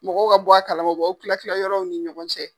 Mɔgɔw ka bɔ a kalama u b'aw kila kila yɔrɔw ni ɲɔgɔn cɛ.